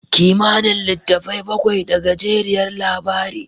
Kimanin litattafai bakwai da gajeriyar labari.